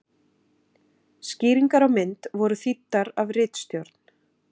Skýringar á mynd voru þýddar af ritstjórn.